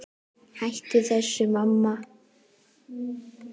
Hættu þessu, mamma!